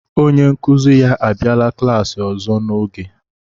onye nkuzi ya abịala klaasị ọzọ n'ohe